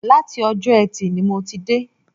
Láti Ọjọ́ Ẹtì ni mo ti dé